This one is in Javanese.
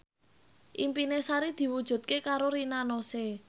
impine Sari diwujudke karo Rina Nose